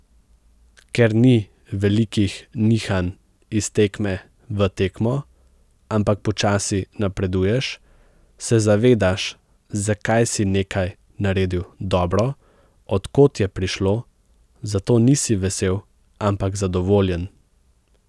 Ker ni velikih nihanj iz tekme v tekmo, ampak počasi napreduješ, se zavedaš, zakaj si nekaj naredil dobro, od kod je prišlo, zato nisi vesel, ampak zadovoljen.